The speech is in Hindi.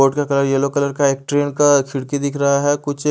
कोर्ट का कलर येल्लो कलर का है एक ट्रेन का खिड़की दिख रहा है कुछ --